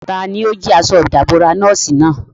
Tani ó jí aṣọ ìdàbora nọ́ọ̀sì náà?